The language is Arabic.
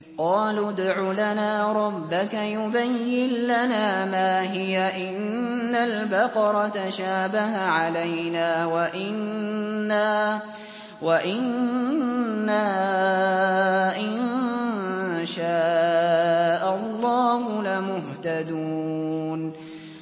قَالُوا ادْعُ لَنَا رَبَّكَ يُبَيِّن لَّنَا مَا هِيَ إِنَّ الْبَقَرَ تَشَابَهَ عَلَيْنَا وَإِنَّا إِن شَاءَ اللَّهُ لَمُهْتَدُونَ